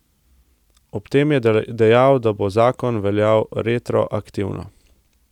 Ob tem je dejal, da bo zakon veljal retroaktivno.